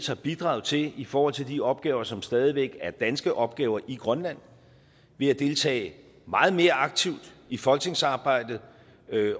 har bidraget til i forhold til de opgaver som stadig væk er danske opgaver i grønland ved at deltage meget mere aktivt i folketingsarbejdet